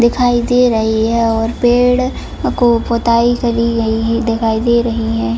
दिखाई दे रही है और पेड़ को पुताई करी गई दिखाई दे रही है।